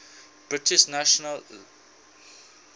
british nationality act